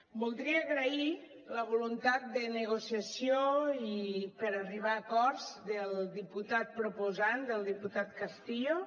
voldria agrair la voluntat de negociació i per arribar acords del diputat proposant del diputat castillo